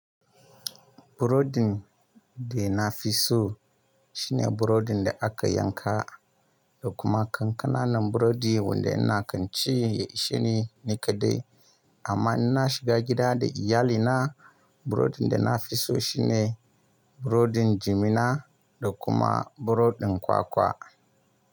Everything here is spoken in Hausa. Burodin da na fi so shine burodin da aka yanka da kuma 'yan ƙana nan burodi wanda ina kan ci shine nikaɗai. Amma in na shiga gida da iyalina, burodin da na fi so shine burodin jimina da kuma burodin kwakwa.